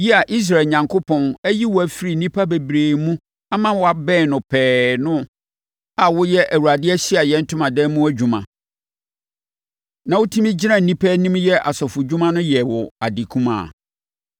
“Yi a Israel Onyankopɔn ayi wo afiri nnipa bebree mu ama woabɛn no pɛɛ no, a woyɛ Awurade Ahyiaeɛ Ntomadan mu adwuma, na wotumi gyina nnipa anim yɛ asɔfodwuma no yɛ wo ade kumaa?